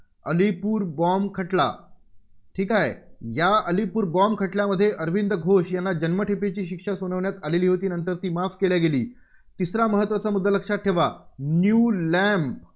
Alipur bomb खटला. ठीक आहे. या अलीपूर bomb खटल्यामध्ये अरविंद घोष यांना जन्मठेपेची शिक्षा सुनावण्यात आलेली होती. नंतर ती माफ केली गेली. तिसरा महत्त्वाचा मुद्दा लक्षात ठेवा न्यू लँप